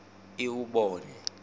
iwubone